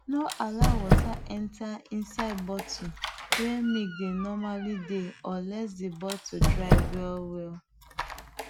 no allow water enter inside bottle wey milk dey normally dey unless the bottle dry well well